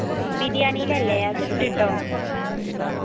ബിരിയാണീലല്ലേ അതിണ്ട് ട്ടോ